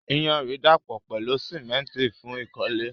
Iyanrìn dàpọ̀ pẹ̀lú símẹ́ńtì fún ìkọ́lé.